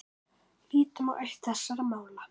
Lítum á eitt þessara mála.